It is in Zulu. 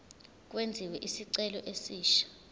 kwenziwe isicelo esisha